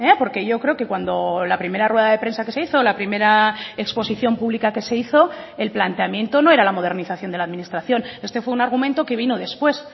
porque yo creo que cuando la primera rueda de prensa que se hizo la primera exposición pública que se hizo el planteamiento no era la modernización de la administración este fue un argumento que vino después